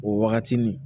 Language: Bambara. O wagati ni